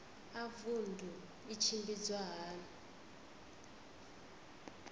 a vundu i tshimbidzwa hani